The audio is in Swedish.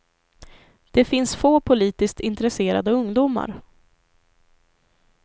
Det finns få politiskt intresserade ungdomar.